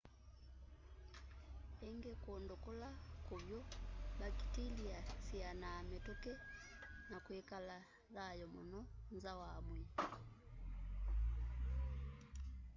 ingi kundu kula kuvyu mbakitilia syianaa mituki na kwikala thayu muno nza wa mwii